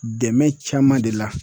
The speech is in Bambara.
Dɛmɛ caman de la.